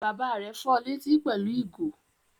Bàbá rẹ̀ fọ létí pẹ̀lú ìgò?